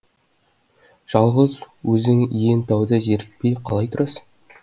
жалғыз өзің иен тауда зерікпей қалай тұрасың